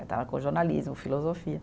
Eu estava com o jornalismo, filosofia.